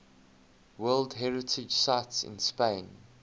world heritage sites in spain